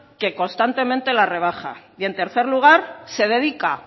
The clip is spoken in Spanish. que constantemente las rebaja y en tercer lugar se dedica